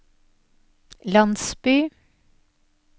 landsby